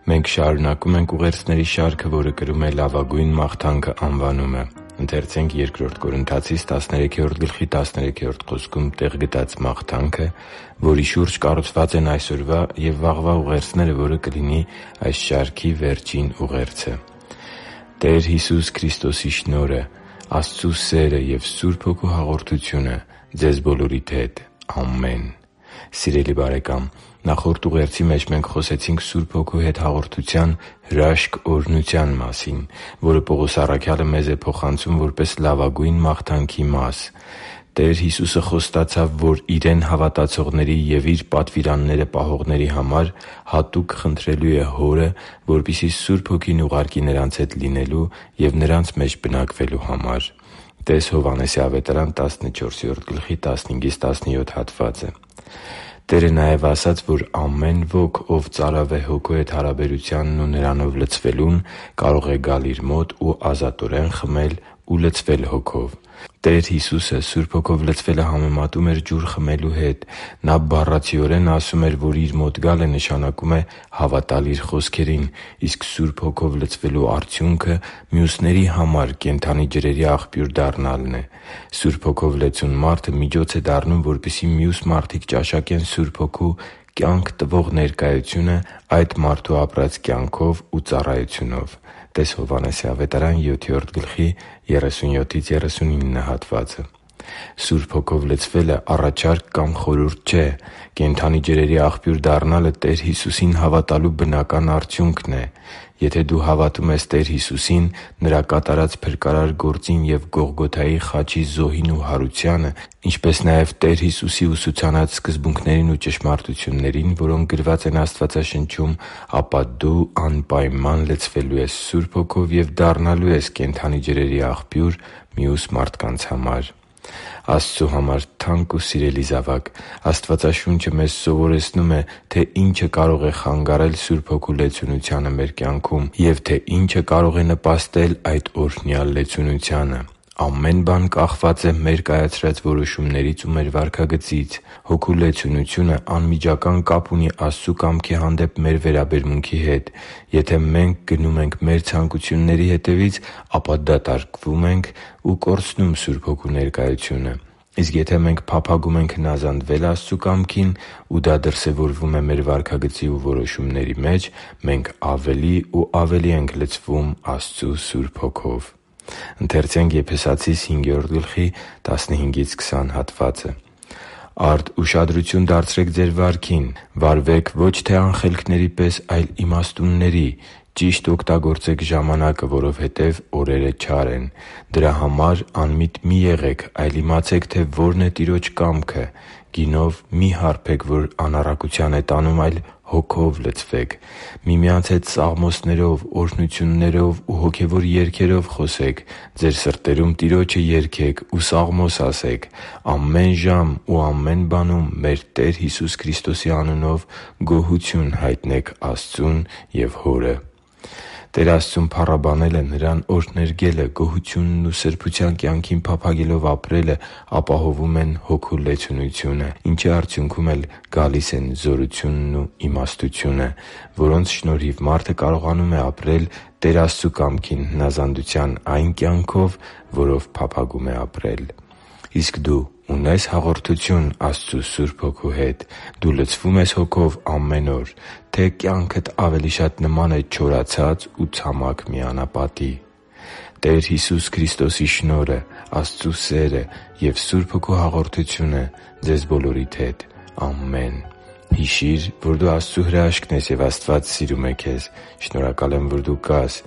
Մենք շարունակում ենք ուղերձների շարքը, որը կրում է «Լավագույն մաղթանքը» անվանումը։ Ընթերցե՛նք Բ Կորնթացիս 13․13 խոսքում տեղ գտած մաղթանքը, որի շուրջ կառուցված են այսօրվա և վաղվա ուղերձները, որը կլինի այս շարքի վերջին ուղերձը․ «Տեր Հիսուս Քրիստոսի շնորհը, Աստծու սերը և Սուրբ Հոգու հաղորդությունը ձեզ բոլորիդ հետ։ Ամեն» (Բ Կորնթացիս 13․13): Սիրելի՛ բարեկամ, նախորդ ուղերձի մեջ մենք խոսեցինք Սուրբ Հոգու հետ հաղորդության հրաշք օրհնության մասին, որը Պողոս առաքյալը մեզ է փոխանցում՝ որպես լավագույն մաղթանքի մաս։ Տեր Հիսուսը խոստացավ, որ Իրեն հավատացողների և Իր պատվիրանները պահողների համար հատուկ խնդրելու է Հորը, որպեսզի Սուրբ Հոգին ուղարկի նրանց հետ լինելու և նրանց մեջ բնակվելու համար (տե՛ս Հովհաննես 14․15-17 հատվածը): Տերը նաև ասաց, որ ամեն ոք, ով ծարավ է Հոգու հետ հարաբերությանն ու Նրանով լցվելուն, կարող է գալ Իր մոտ ու ազատորեն խմել ու լցվել Հոգով։ Տեր Հիսուսը Սուրբ Հոգով լցվելը համեմատում էր ջուր խմելու հետ։ Նա բառացիորեն ասում էր, որ Իր մոտ գալը նշանակում է հավատալ Իր խոսքերին, իսկ Սուրբ Հոգով լցվելու արդյունքը մյուսների համար կենդանի ջրերի աղբյուր դառնալն է։ Սուրբ Հոգով լեցուն մարդը միջոց է դառնում, որպեսզի մյուս մարդիկ ճաշակեն Սուրբ Հոգու՝ կյանք տվող ներկայությունը այդ մարդու ապրած կյանքով ու ծառայությունով (տե՛ս Հովհաննես 7․37-39 հատվածը): Սուրբ Հոգով լցվելը առաջարկ կամ խորհուրդ չէ։ Կենդանի ջրերի աղբյուր դառնալը Տեր Հիսուսին հավատալու բնական արդյունքն է։ Եթե դու հավատում ես Տեր Հիսուսին՝ Նրա կատարած փրկարար գործին և Գողգոթայի խաչի զոհին ու հարությանը, ինչպես նաև Տեր Հիսուսի ուսուցանած սկզբունքներին ու ճշմարտություններին, որոնք գրված են Աստվածաշնչում, ապա դու անպայման լցվելու ես Սուրբ Հոգով և դառնալու ես կենդանի ջրերի աղբյուր մյուս մարդկանց համար։ Աստծու համար թանկ ու սիրելի՛ զավակ, Աստվածաշունչը մեզ սովորեցնում է, թե ինչը կարող է խանգարել Սուրբ Հոգու լեցունությանը մեր կյանքում և թե ինչը կարող է նպաստել այդ օրհնյալ լեցունությանը։ Ամեն բան կախված է մեր կայացրած որոշումներից ու մեր վարքագծից։ Հոգու լեցունությունը անմիջական կապ ունի Աստծու կամքի հանդեպ մեր վերաբերմունքի հետ։ Եթե մենք գնում ենք մեր ցանկությունների հետևից, ապա դատարկվում ենք ու կորցնում Սուրբ Հոգու ներկայությունը։ Իսկ եթե մենք փափագում ենք հնազանդվել Աստծու կամքին, ու դա դրսևորվում է մեր վարքագծի ու որոշումների մեջ, մենք ավելի ու ավելի ենք լցվում Աստծու Սուրբ Հոգով։ «Արդ ուշադրությո՛ւն դարձրեք ձեր վարքին. վարվե՛ք ոչ թե անխելքների պես, այլ իմաստունների. ճի՛շտ օգտագործեք ժամանակը, որովհետև օրերը չար են։ Դրա համար անմիտ մի՛ եղեք, այլ իմացե՛ք, թե որն է Տիրոջ կամքը։ Գինով մի՛ հարբեք, որ անառակության է տանում, այլ Հոգո՛վ լցվեք։ Միմյանց հետ սաղմոսներով, օրհնություններով ու հոգևոր երգերո՛վ խոսեք, ձեր սրտերում Տիրո՛ջը երգեք ու սաղմո՛ս ասեք։ Ամեն ժամ ու ամեն բանում մեր Տեր Հիսուս Քրիստոսի անունով գոհությո՛ւն հայտնեք Աստծուն և Հորը» (Եփեսացիս 5․15-20): Տեր Աստծուն փառաբանելը, Նրան օրհներգելը, գոհությունն ու սրբության կյանքին փափագելով ապրելը ապահովում է Հոգու լեցունությունը, ինչի արդյունքն էլ լինում են զորությունն ու իմաստությունը, որոնց շնորհիվ մարդը կարողանում է ապրել Տեր Աստծու կամքին հնազանդության այն կյանքով, որով փափագում է ապրել։ Իսկ դու ունե՞ս հաղորդություն Աստծու Սուրբ Հոգու հետ։ Դու լցվո՞ւմ ես Հոգով ամեն օր, թե՞ կյանքդ ավելի շատ նման է չորացած ու ցամաք մի անապատի․․․ «Տեր Հիսուս Քրիստոսի շնորհը, Աստծու սերը և Սուրբ Հոգու հաղորդությունը ձեզ բոլորիդ հետ։ Ամեն»։ Հիշի՛ր, որ դու Աստծո հրաշքն ես, և Աստված սիրում է քեզ։ Շնորհակալ եմ, որ դու կա՛ս